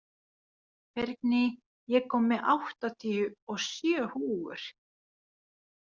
Bergný, ég kom með áttatíu og sjö húfur!